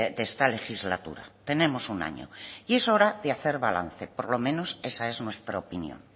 de esta legislatura tenemos un año y es hora de hacer balance por lo menos esa es nuestra opinión